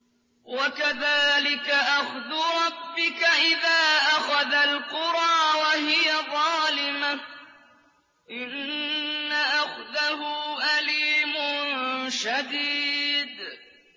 وَكَذَٰلِكَ أَخْذُ رَبِّكَ إِذَا أَخَذَ الْقُرَىٰ وَهِيَ ظَالِمَةٌ ۚ إِنَّ أَخْذَهُ أَلِيمٌ شَدِيدٌ